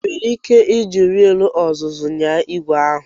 Ị nwere ike iji wiil ọzụzụ nyaa igwe ahu?